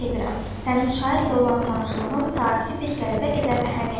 Sənin şairlə olan tanışlığın tarixi bir qələbə qədər əhəmiyyətlidir.